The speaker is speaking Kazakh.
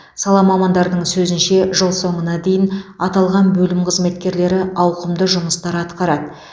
сала мамандарының сөзінше жыл соңына дейін аталған бөлім қызметкерлері ауқымды жұмыстар атқарады